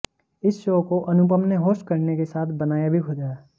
इस शो को अनुपम ने होस्ट करने के साथ बनाया भी खुद है